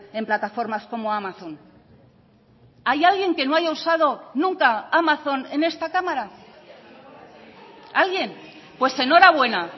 en plataformas como amazon hay alguien que no haya usado nunca amazon en esta cámara alguien pues enhorabuena